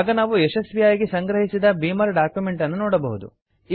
ಆಗ ನಾವು ಯಶಸ್ವಿಯಾಗಿ ಸಂಗ್ರಹಿಸಿದ ಬೀಮರ್ ಡಾಕ್ಯುಮೆಂಟ್ ಅನ್ನು ನೋಡಬಹುದು